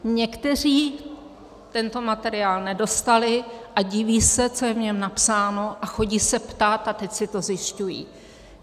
Někteří tento materiál nedostali a diví se, co je v něm napsáno, a chodí se ptát a teď si to zjišťují.